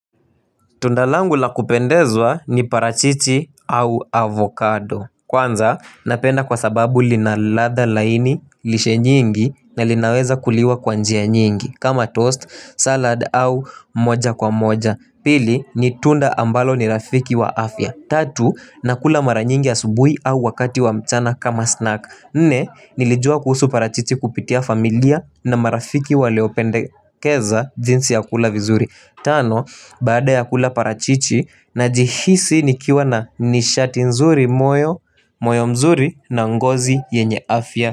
Tunda langu la kupendezwa ni parachichi au avocado. Kwanza, napenda kwa sababu lina ladha laini lishe nyingi na linaweza kuliwa kwa njia nyingi. Kama toast, salad au moja kwa moja. Pili, ni tunda ambalo ni rafiki wa afya. Tatu, nakula mara nyingi asubuhi au wakati wa mchana kama snack. Nne, nilijua kuhusu parachichi kupitia familia na marafiki waliopendekeza jinsi ya kula vizuri. Tano, baada ya kula parachichi najihisi nikiwa na nishati nzuri moyo moyo mzuri na ngozi yenye afya.